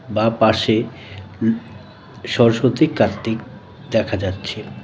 বাঁ পাশে উব সরস্বতী কার্তিক দেখা যাচ্ছে.